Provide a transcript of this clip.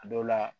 A dɔw la